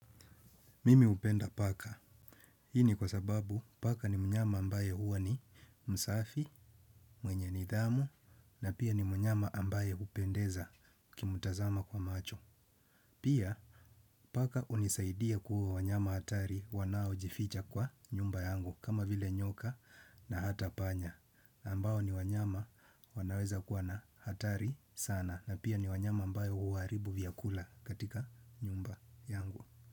Mimi upenda paka. Hii ni kwa sababu paka ni mnyama ambaye uwa ni msafi, mwenye nidhamu, na pia ni mnyama ambaye upendeza ukimutazama kwa macho. Pia paka unisaidia kuuwa wanyama hatari wanaojificha kwa nyumba yangu kama vile nyoka na hata panya. Ambao ni wanyama wanaweza kuwa na hatari sana na pia ni wanyama ambayo huaribu vyakula katika nyumba yangu.